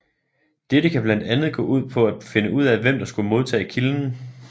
Dette kan blandt andet gå ud på at finde ud af hvem der skulle modtage kilden